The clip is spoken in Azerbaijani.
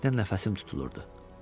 xoşbəxtlikdən nəfəsim tutulurdu.